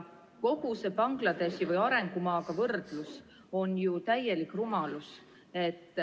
Kogu see võrdlus Bangladeshi või arengumaaga on täielik rumalus.